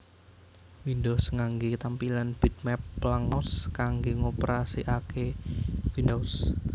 Windows nganggé tampilan bitmap lan mouse kanggé ngoperasikaké Windows